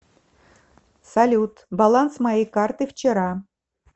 салют баланс моей карты вчера